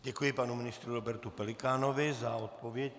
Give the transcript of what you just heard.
Děkuji panu ministrovi Robertu Pelikánovi za odpověď.